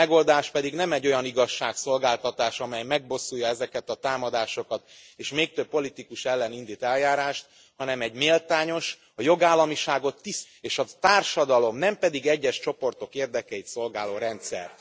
A megoldás pedig nem egy olyan igazságszolgáltatás, amely megbosszulja ezeket a támadásokat és még több politikus ellen indít eljárást, hanem egy méltányos, a jogállamiságot tiszteletben tartó és a társadalom, nem pedig egyes csoportok érdekeit szolgáló rendszer.